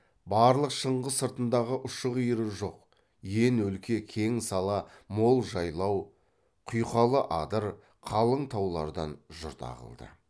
барлық шыңғы сыртындағы ұшы қиыры жоқ ен өлке кең сала мол жайлау құйқалы адыр қалың таулардан жұрт ағылды